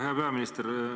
Hea peaminister!